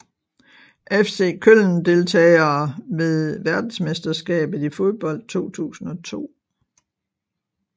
FC Köln Deltagere ved verdensmesterskabet i fodbold 2002